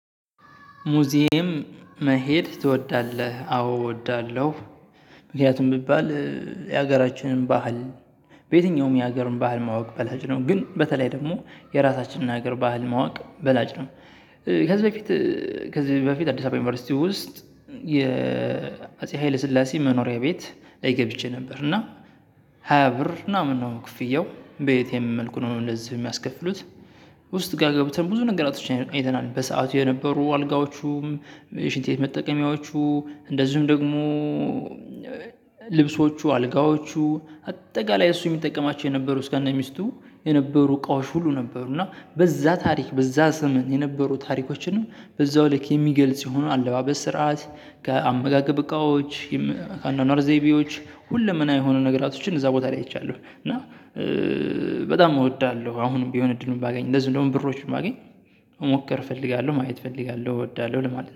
ሙዝየም መሄድ ትወዳለህ አዎ እወዳለሁ። ምክንያቱም ቢባል የሀገራችንን ባህል በየትኛውም የሀገርን ባህል ማወቅ በላጭ ነው ግን በተለይ ደግሞ የራሳችንን ሀገር ባህል ማወቅ በላጭ ነው። ከዚህ በፊት ከዚህ በፊት አዲስ አበባ ዩኒቨርሲቲ ውስጥ የ ሀይለ ስላሴ መኖሪያ ቤት ላይ ገብቼ ነበር እና ሃያ ብር ምናምን ነው ክፍያው በ እትኤም መልኩ ነው እንደዚህ የሚያስከፍሉት። ውስጥ ጋር ገብተን ብዙ ነገራቶችን አይተናል በሰአቱ የነበሩ አልጋዎቹም ሽንት ቤት መጠቀሚያዎቹ እንደዚሁም ደግሞ ልብሶቹ አልጋዎቹ አጠቃላይ እሱ የሚጠቀማቸው የነበሩ እስከ እነ ሚስቱ የነበሩ እቃዎች ሁሉ ነበሩ። እና በዛ ታሪክ በዛ ዘመን የነበሩ ታሪኮችንም በዛው ልክ የሚገልጽ የሆኑ አለባበስ ስርዓት ከአመጋገብ እቃዎች አኗኗር ዘይቤዎች ሁለመናው የሆኑ ነገሮችን እዛ ቦታ ላይ አይቻለሁ። እና በጣም እወዳለሁ አሁንም ቢሆን እድሉን ባገኝ እንደዚህም ደሞ ብሮችን ባገኝ መሞከር እፈልጋለሁ ማየት እፈልጋለሁ እወዳለሁ ለማለት ነው